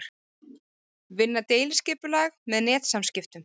Vinna deiliskipulag með netsamskiptum